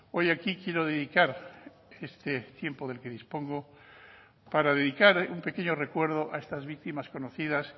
hoy aquí quiero dedicar este tiempo del que dispongo para dedicar un pequeño recuerdo a estas víctimas conocidas